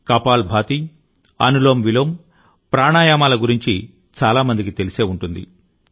కపాలభాతి అనులోమ్విలోమ్ ప్రాణాయామం పరిచయం చాలా మందికి ఉంటుంది